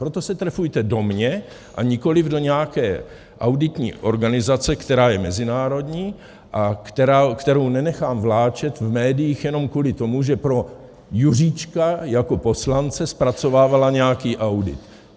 Proto se trefujte do mě, a nikoliv do nějaké auditní organizace, která je mezinárodní a kterou nenechám vláčet v médiích jenom kvůli tomu, že pro Juříčka jako poslance zpracovávala nějaký audit.